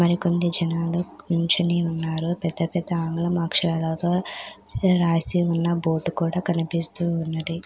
మరికొంది జనాలు నించొని ఉన్నారు. పెద్ద పెద్ద ఆంగ్లం అక్షరాలతో రాసి ఉన్న బోర్డు కూడా కనిపిస్తూ ఉన్నది.